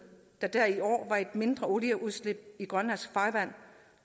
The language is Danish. da der i år var et mindre olieudslip i grønlandsk farvand